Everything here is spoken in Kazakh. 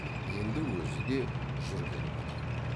енді өзі де жүргелі отыр